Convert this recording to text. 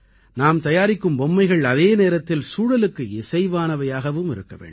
நாம் தயாரிக்கும் பொம்மைகள் அதே நேரத்தில் சூழலுக்கு இசைவானவையாகவும் இருக்க வேண்டும்